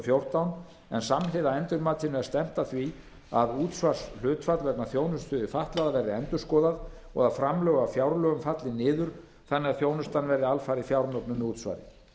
fjórtán en samhliða endurmatinu er stefnt að því að útsvarshlutfall vegna þjónustu við fatlaða verði endurskoðað og að framlög af fjárlögum falli niður þannig að þjónustan verði alfarið fjármögnuð með útsvari